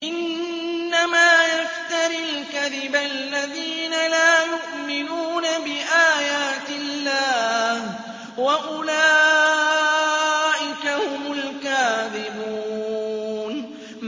إِنَّمَا يَفْتَرِي الْكَذِبَ الَّذِينَ لَا يُؤْمِنُونَ بِآيَاتِ اللَّهِ ۖ وَأُولَٰئِكَ هُمُ الْكَاذِبُونَ